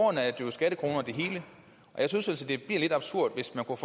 jeg synes altså det bliver lidt absurd hvis man kunne